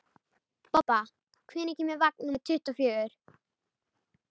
Bobba, hvenær kemur vagn númer tuttugu og fjögur?